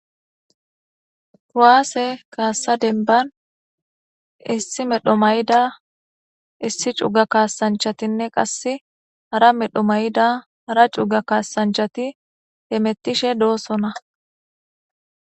kowaase kaassa denban issi medho mayida issi cuuga kaasanchatinne qasse hara medho mayida ara cuga kaasanchati hemettishe doosona